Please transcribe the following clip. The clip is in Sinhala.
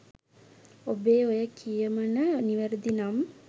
ඔබේ ඔය කියමණ නිවැරදි නම්